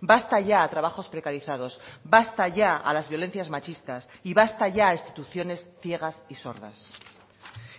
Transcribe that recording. basta ya a trabajos precarizados basta ya a las violencias machistas y basta ya a instituciones ciegas y sordas